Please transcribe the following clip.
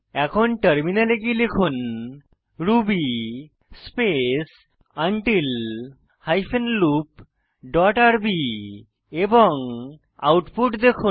এখন টার্মিনালে গিয়ে লিখুন ruby space until hyphen loop dot rb এবং আউটপুট দেখুন